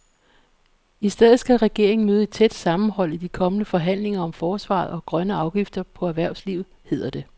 I stedet skal regeringen møde et tæt sammenhold i de kommende forhandlinger om forsvaret og grønne afgifter på erhvervslivet, hedder det.